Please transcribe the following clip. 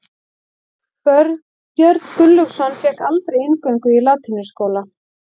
Björn Gunnlaugsson fékk aldrei inngöngu í latínuskóla.